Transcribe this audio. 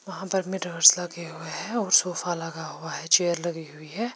वहा पर में मिर्रोर्स लगे हुए है और सोफा लगा हुआ है चेयर लगी हुई है।